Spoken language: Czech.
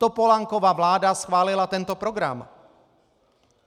Topolánkova vláda schválila tento program.